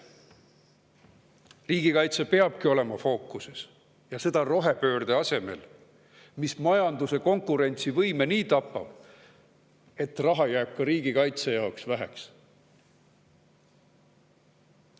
Riigikaitse peabki olema fookuses, ja seda rohepöörde asemel, mis majanduse konkurentsivõimet nii tapab, et raha jääb ka riigikaitse jaoks väheks.